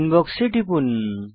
inbox এ টিপুন